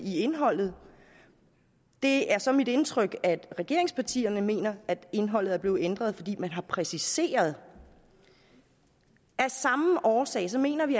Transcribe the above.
indholdet det er så mit indtryk at regeringspartierne mener at indholdet er blevet ændret fordi man har præciseret det af samme årsag mener vi